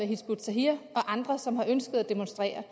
hizb ut tahrir og andre som har ønsket at demonstrere